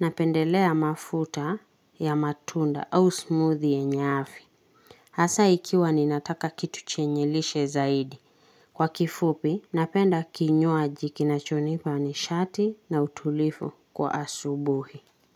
napendelea mafuta ya matunda au smoothie ya afya. Hasa, ikiwa ninataka kitu chenye lishe zaidi. Kwa kifupi, napenda kinywaji kinachonipa nishati na utulifu kwa asubuhi.